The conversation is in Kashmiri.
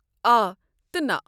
آ تہ نہ!